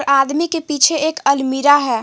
आदमी के पीछे एक अलमीरा है।